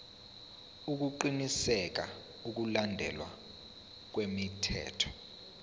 ukuqinisekisa ukulandelwa kwemithetho